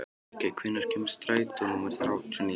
Ríkey, hvenær kemur strætó númer þrjátíu og níu?